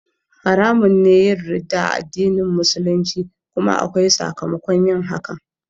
Haramun ne yin ridda a addinin Musulunci kuma akwai sakamakon yin hakan